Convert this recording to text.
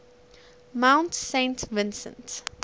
mount saint vincent